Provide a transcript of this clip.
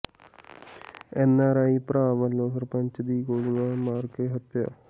NRI ਭਰਾ ਵੱਲੋਂ ਸਰਪੰਚ ਦੀ ਗੋਲੀਆਂ ਮਾਰ ਕੇ ਹੱਤਿਆ